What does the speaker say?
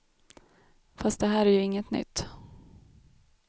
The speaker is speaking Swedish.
Fast det här är ju inget nytt.